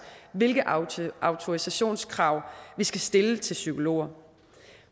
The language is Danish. hvilke autorisationskrav vi skal stille til psykologer